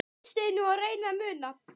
Hlustiði nú og reynið að muna